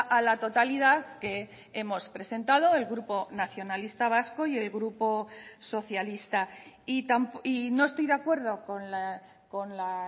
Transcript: a la totalidad que hemos presentado el grupo nacionalista vasco y el grupo socialista y no estoy de acuerdo con la